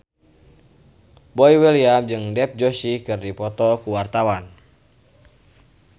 Boy William jeung Dev Joshi keur dipoto ku wartawan